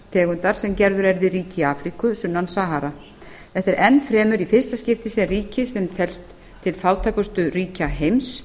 tegundar sem gerður er við auki í afríku sunnan sahara þetta er enn fremur í fyrsta skipti sem ríki sem telst til fátækustu ríkja heims